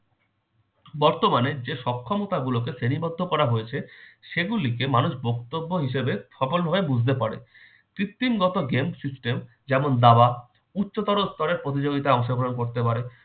বর্তমানে যে সক্ষমতা গুলোকে শ্রেণীবদ্ধ করা হয়েছে সেগুলিকে মানুষ বক্তব্য হিসাবে সফলভাবে বুঝতে পারে। কৃত্রিমগত game system যেমন- দাবা উচ্চতর স্তরের প্রতিযোগিতায় অংশগ্রহণ করতে পারে।